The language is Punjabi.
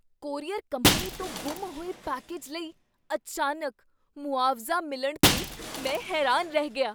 ਕੋਰੀਅਰ ਕੰਪਨੀ ਤੋਂ ਗੁੰਮ ਹੋਏ ਪੈਕੇਜ ਲਈ ਅਚਾਨਕ ਮੁਆਵਜ਼ਾ ਮਿਲਣ 'ਤੇ ਮੈਂ ਹੈਰਾਨ ਰਹਿ ਗਿਆ।